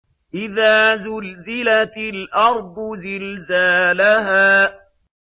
إِذَا زُلْزِلَتِ الْأَرْضُ زِلْزَالَهَا